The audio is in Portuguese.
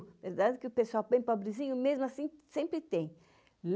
É que o pessoal bem pobrezinho, mesmo assim, sempre tem.